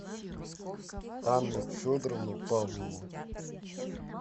анну федоровну павлову